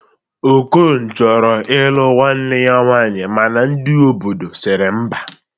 Okon chọrọ ilụ nwanne ya nwaanyi mana ndi obodo siri mba